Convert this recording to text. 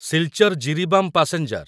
Silchar Jiribam passenger